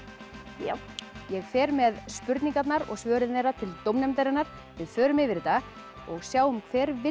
já ég fer með spurningarnar og svörin til dómnefndarinnar við förum yfir þetta og sjáum hver vinnur